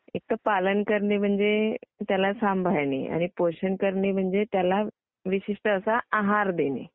एकतर पालन करणे म्हणजे त्याला सांभाळणे आणि पोषण करणे म्हणजे त्याला विशिष्ट असा आहार देणे..